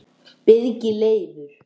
Birgir Leifur